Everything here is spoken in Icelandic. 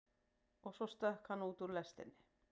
Og svo stökk hann út úr lestinni.